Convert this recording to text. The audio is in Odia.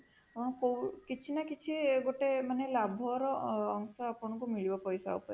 ହଁ କୋଉ କିଛି ନ କିଛି ଗୋଟେ ମାନେ ଲାଭର ଅଂଶ ଆପଣାକୁ ମିଳିବ ପଇସା ଉପରେ